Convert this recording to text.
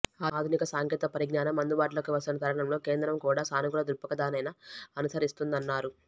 ఆధునిక సాంకేతిక పరిజ్ఞానం అందుబాటులోకి వస్తున్న తరుణంలో కేంద్రం కూడా సానుకూల ధృక్పథానే్న అనుసరిస్తోందన్నారు